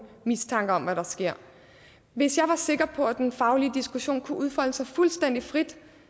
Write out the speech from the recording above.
mistanker om hvad der sker hvis jeg var sikker på at den faglige diskussion kunne udfolde sig fuldstændig frit